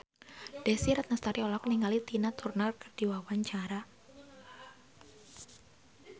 Desy Ratnasari olohok ningali Tina Turner keur diwawancara